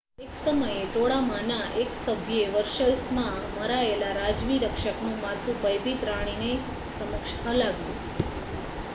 એક સમયે ટોળામાંના એક સભ્યે વર્સેલ્સમાં મરાયેલા રાજવી રક્ષકનું માથું ભયભીત રાણીની સમક્ષ હલાવ્યું